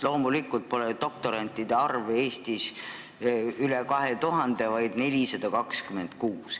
Loomulikult pole doktorantide arv Eestis üle 2000, vaid 426.